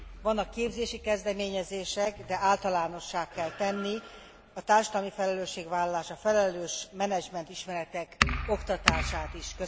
Vannak képzési kezdeményezések, de általánossá kell tenni a társadalmi felelősségvállalás, a felelős menedzsment ismeretek oktatását is.